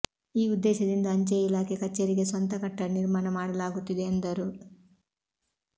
ಈ ಉದ್ದೇಶದಿಂದ ಅಂಚೆ ಇಲಾಖೆ ಕಚೇರಿಗೆ ಸ್ವಂತ ಕಟ್ಟಡ ನಿರ್ಮಾಣ ಮಾಡಲಾಗುತ್ತಿದೆ ಎಂದರು